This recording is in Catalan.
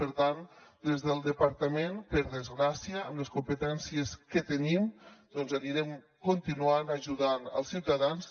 per tant des del departament per desgràcia amb les competències que tenim doncs anirem continuant ajudant els ciutadans